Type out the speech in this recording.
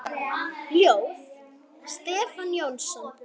Ljóð: Stefán Jónsson